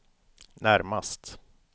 närmast